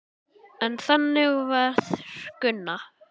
En þannig var Gunna.